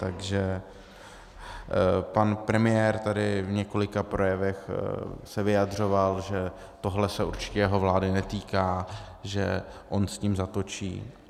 Takže pan premiér tady v několika projevech se vyjadřoval, že tohle se určitě jeho vlády netýká, že on s tím zatočí.